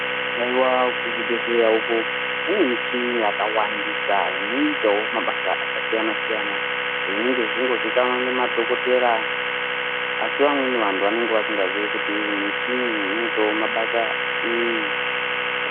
Haiwa kuzvibhedhlera uko kune michini yakawandisa inoitawo mabasa akasiyana siyana zvinenge zveichitozikanwa ngemadhokotera asi amweni antu vanenge vasingazivi kuti muchini iyi inoitawo mabasa eyi.